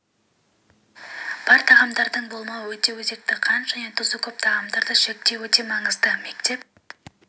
бар тағамдардың болмауы өте өзекті қант және тұзы көп тағамдарды шектеу де өте маңызды мектеп